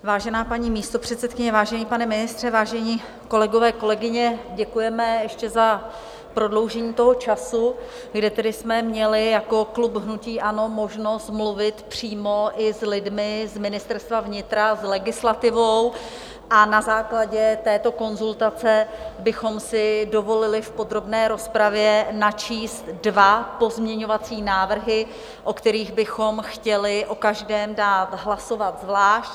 Vážená paní místopředsedkyně, vážený pane ministře, vážení kolegové, kolegyně, děkujeme ještě za prodloužení toho času, kde tedy jsme měli jako klub hnutí ANO možnost mluvit přímo i s lidmi z Ministerstva vnitra, s legislativou, a na základě této konzultace bychom si dovolili v podrobné rozpravě načíst dva pozměňovací návrhy, o kterých bychom chtěli o každém dát hlasovat zvlášť.